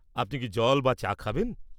আপনি কি জল বা চা খাবেন?